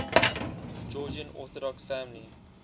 georgian orthodox family